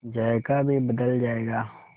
जायका भी बदल जाएगा